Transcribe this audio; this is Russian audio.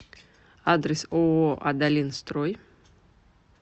адрес ооо адалин строй